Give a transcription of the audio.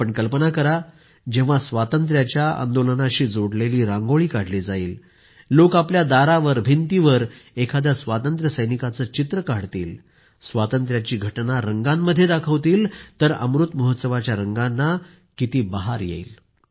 आपण कल्पना करा जेव्हा स्वातंत्र्याच्या आंदोलनाशी जोडलेली रांगोळी काढली जाईल लोक आपल्या दारावर भिंतीवर एखाद्या स्वातंत्र्यसैनिकाचं चित्र काढतील स्वातंत्र्याची घटना रंगांमध्ये दाखवतील तर अमृत महोत्सवाच्या रंगांना आणखी बहार येईल